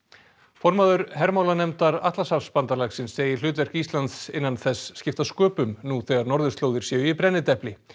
formaður hermálanefndar Atlantshafsbandalagsins segir hlutverk Íslands innan þess skipta sköpum nú þegar norðurslóðir séu í brennidepli